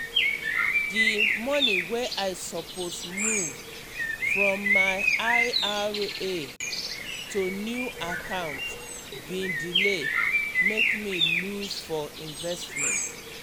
di money wey i suppose move from my I R A to new account bin delay mek me lose for investment.